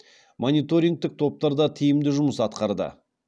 мониторингтік топтар да тиімді жұмыс атқарды